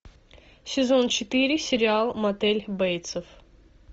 сезон четыре сериал мотель бейтсов